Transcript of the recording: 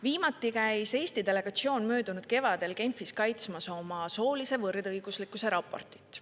Viimati käis Eesti delegatsioon möödunud kevadel Genfis kaitsmas oma soolise võrdõiguslikkuse raportit.